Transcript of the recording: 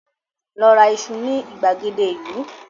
Lọ ra iṣu ní ìgbàgede ìlú!